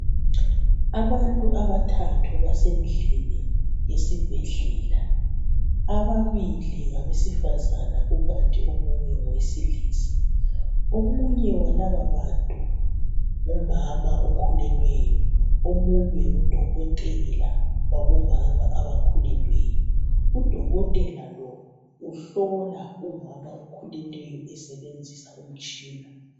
Abantu abathathu basendlini yesibhedlela. Ababili ngabesifazana kukanti omunye ngowesilisa. Omunye walababantu ngumama okhulelweyo, omunye ngudokotela wabomama abakhulelweyo. Udokotela lo uhlola umama okhulelweyo esebenzisa umtshina.